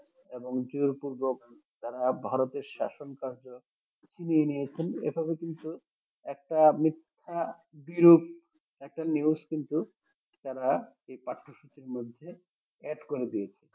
এবং জোরপূর্বক তারা ভারতের শাসনকার্য ছিনিয়ে নিয়েছেন এভাবে কিন্তু একটা মিথ্যা বিরূপ একটা news কিন্তু তারা এ পাঠ্যসূচির মধ্যে add করে দিয়েছে